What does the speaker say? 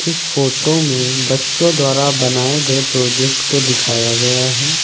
इस फोटो में बच्चों द्वारा बनाए गए प्रोजेक्ट को दिखाया गया है।